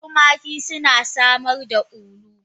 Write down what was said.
Tumaki suna samar da ulu.